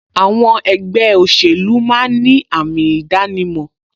Àwọn ẹgbẹ́ òṣèlú máa ń ní àmì ìdánimọ̀